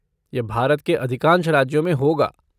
यह भारत के अधिकांश राज्यों में होगा।